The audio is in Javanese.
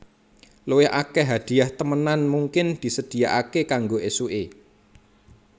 Luwih akèh hadhiah temenan mungkin disedhiyakaké kanggo ésuké